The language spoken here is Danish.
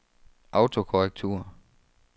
autokorrektur